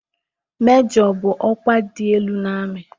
Mejọ bụ ọkwa dị elu n'amị